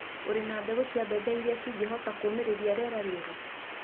ũrĩ na mbegũ cia mbembe irĩa cingĩhota kũũmĩrĩria rĩera rĩũru?